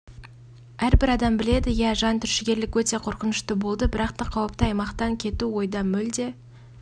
әрбір адам біледі иә жан түршігерлік өте қорқынышты болды бірақта қауіпті аймақтан кету ойда мүлде